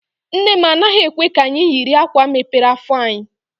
Nne m anaghị ekwe ka anyị yiri akwa mepere afọ anyị.